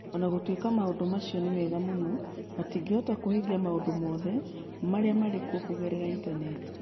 O na gũtuĩka maũndũ macio nĩ mega mũno, matingĩhota kũhingia maũndũ mothe marĩa marĩ kuo kũgerera Intaneti.